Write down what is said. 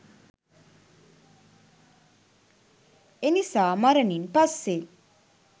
එනිසා මරණින් පස්සේ